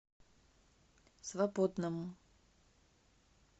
свободному